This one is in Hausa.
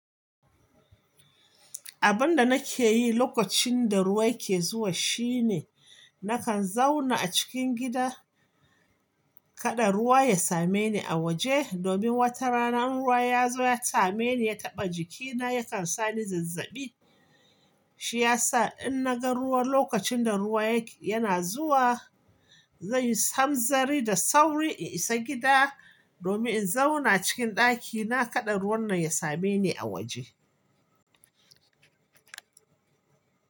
Abunda nake yi lokacin da ruwa ya ke zuwa shine nakan zauna a cikin gida same ni a waje domin wata rana in ruwa yazo ya same ni ya taba jikina ya kan sa ni zazaɓi shi yasa in na gan ruwa lokacin da ruwa yak yana zuwa zan yi hanzari da sauri in isa gida domin in zauna cikin daki na kada ruwan nan ya same ni a waje.